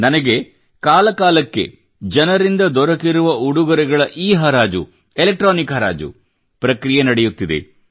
ನನಗೆ ಕಾಲ ಕಾಲಕ್ಕೆ ಜನರಿಂದ ದೊರಕಿರುವ ಉಡುಗೊರೆಗಳ ಇಲೆಕ್ಟ್ರಾನಿಕ್ಹರಾಜು ಪ್ರಕ್ರಿಯೆ ನಡೆಯುತ್ತಿದೆ